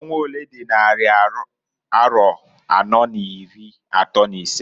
Ọnwa olee dị n' nnarị arọ anọọ n'iri atọọ n'isee?